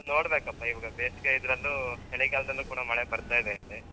ನೋಡ್ಬೇಕಪ್ಪ ಇವಾಗ ಬೇಸಿಗೆ ಇದ್ರಲ್ಲೂ ಚಳಿಗಾಲದಲ್ಲೂ ಪುನಃ ಮಳೆ ಬರ್ತಾ ಇದೆ ಇಲ್ಲಿ.